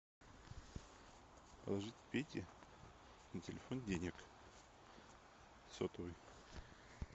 положить пете на телефон денег сотовый